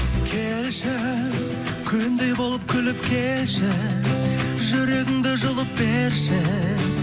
келші күндей болып күліп келші жүрегіңді жұлып берші